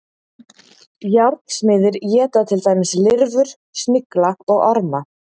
Járnsmiðir éta til dæmis lirfur, snigla og orma.